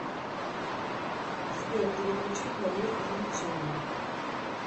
сбер переключить на мир увлечений